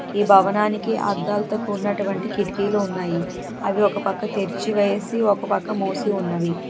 ఈ భావననికి అద్దలతో కూడినటువంటి కిటికీ లు ఉన్నాయి అవి ఒక పక్క తెరిచి వేసి ఒక పక్క మూసి ఉన్నాయి.